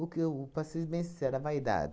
que eu, para ser bem sincera, a vaidade.